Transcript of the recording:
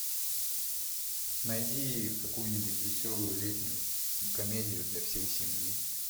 найди какую нибудь веселую летнюю комедию для всей семьи